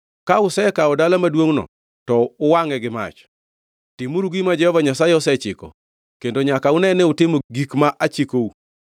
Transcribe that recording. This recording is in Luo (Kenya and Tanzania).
Ka usekawo dala maduongʼno, to uwangʼe gi mach. Timuru gima Jehova Nyasaye osechiko kendo nyaka une ni utimo gik ma achikou.”